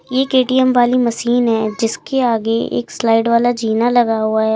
एक ए_टी_एम वाली मशीन है जिसके आगे एक स्लाइड वाला जीना लगा हुआ है।